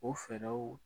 O fɛɛrɛw